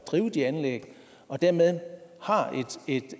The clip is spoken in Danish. drive de anlæg og dermed har et